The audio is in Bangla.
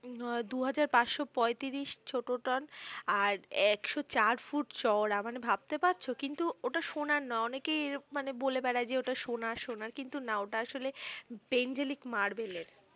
দুহাজার পাঁচশ পয়ত্রিশ ছোট টন আর একশ চার ফুট চওড়া মানে ভাবতে পারছো কিন্তু ওটা সোনার নয় অনেকেই এরকম বলে বেড়ায় যে ওটা সোনার সোনার কিন্তু না ওটা আসলে পেন্ডেলিক মার্বেলের।